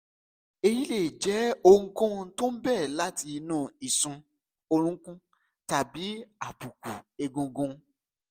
èyí lè jẹ́ ohunkóhun tó ń bẹ̀rẹ̀ láti inú ìsun orunkun tàbí àbùkù egungun